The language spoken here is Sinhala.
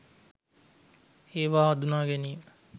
ඒවා හඳුනා ගැනීම